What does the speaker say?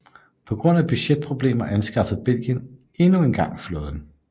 På grund af budgetproblemer afskaffede Belgien endnu engang flåden